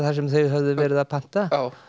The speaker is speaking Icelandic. sem þau höfðu verið að panta